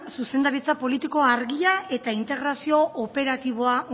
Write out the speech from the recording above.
zuzendaritza politiko argia eta integrazio operatiboa